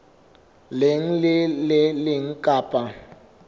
leng le le leng kapa